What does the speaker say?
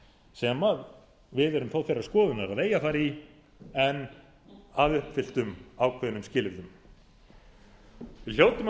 sem við erum þó þeirrar skoðunar að eigi að fara í en að uppfylltum ákveðnum skilyrðum við hljótum að velta